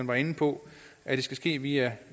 var inde på at det skal ske via